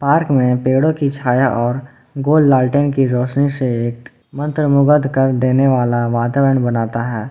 Park में पेड़ो की छाया और गोल लालटेंन की रोशनी से एक मन्त्र मुग्ध कर देने वाला वातावरण बनाता है।